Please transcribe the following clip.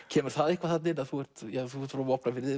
kemur það eitthvað þarna inn að þú ert frá Vopnafirði